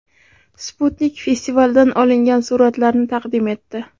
Sputnik festivaldan olingan suratlarni taqdim etdi .